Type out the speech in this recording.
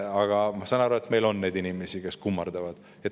Aga ma saan aru, et meil on neid inimesi, kes kummardavad.